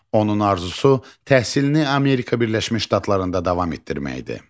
Onun arzusu təhsilini Amerika Birləşmiş Ştatlarında davam etdirməkdir.